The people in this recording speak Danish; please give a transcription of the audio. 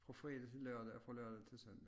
Fra fredag til lørdag og fra lørdag til søndag